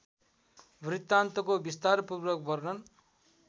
वृत्तान्तको विस्तारपूर्वक वर्णन